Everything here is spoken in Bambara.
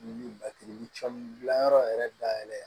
dilan yɔrɔ yɛrɛ dayɛlɛn